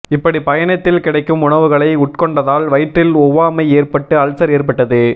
இப்படி பயணத்தில் கிடைக்கும் உணவுகளை உட்கொண்டதால் வயிற்றில் ஒவ்வாமை ஏற்பட்டு அல்சர் ஏற்பட்டது